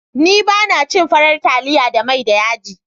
Ni ba na cin farar taliya da mai da yaji.